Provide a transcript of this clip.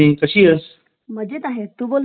Hmm